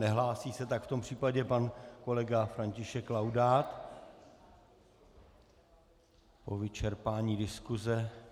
Nehlásí se, tak v tom případě pan kolega František Laudát po vyčerpání diskuse.